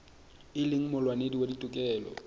e leng molwanedi wa ditokelo